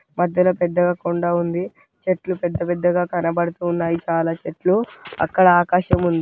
మధ్యలో పెద్దగ కొండ ఉంది చెట్లు పెద్ద పెద్దగా కనబడుతున్నాయి చాలా చెట్లు అక్కడ ఆకాశం ఉంది.